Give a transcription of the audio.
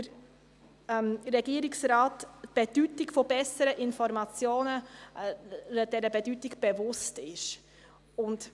Es würde viel zu lange dauern, Ihnen zu erklären, was das genau ist, deshalb verzichte ich darauf.